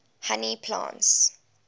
honey plants